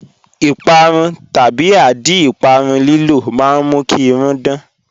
Ìpàrún/àdí ìpàrún lílò mà n mú kí irùn dán